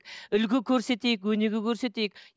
үлгі көрсетейік өнеге көрсетейік